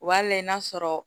O b'a layɛ n'a sɔrɔ